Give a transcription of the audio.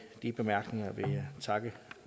de bemærkninger vil jeg takke